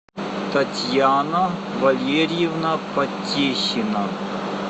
татьяна валерьевна потехина